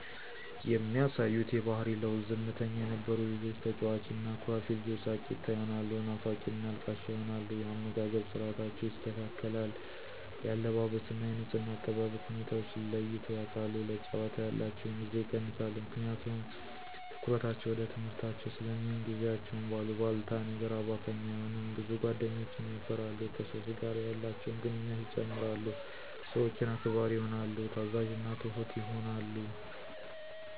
የሚያሳዩት የባሕሪ ለዉጥ፦ ዝምተኛ የነበሩ ልጆች ተጫዋች እና አኩራፊ ልጆች ሳቂታ ይሆናሉ ናፋቂና አልቃሻ ይሆናሉ። የአመጋገብ ስርዓታቸው ይስተካከል፣ የአለባበስ እና የንጽሕና አጠባበቅ ሁኔታወችን ለይተዉ ያቃሉ፣ ለጫወታ ያላቸዉን ጊዜ ይቀንሳሉ ምክንያቱም ትኩረታቸዉ ወደ ትምሕርታቸዉ ስለሚሆን፣ ጊዜያቸዉን በአሉባልታ ነገር አባካኝ አይሆኑም፣ ብዙ ጓደኞችን የፈራሉ፣ ከሰወች ጋር ያላቸውን ግንኙነት ይጨምራል፣ ሰወችን አክባሪ ይሆናሉ፣ ታዛዥና ትሁት ይሆናሉ።